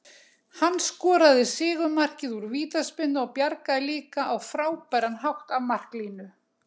Hann skoraði sigurmarkið úr vítaspyrnu og bjargaði líka á frábæran hátt af marklínu.